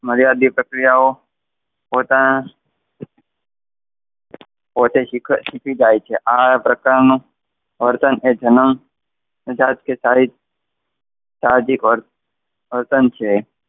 મર્યાદિત પ્રક્રિયાઓ પોતાના પોતે શીખી જાય છે આ પ્રકારનું વર્તન એ જનમ જાત કે સાહજિક વર્તન છે.